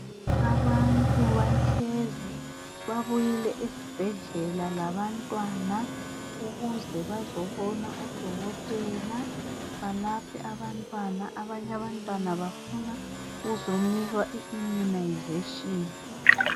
Abantwana bahlezi babuyile esibhedlela labantwana ukuze bazobona odokotela balaphe abantwana. Abanye abantwana bafuna ukuzonikwa iimunazeshini .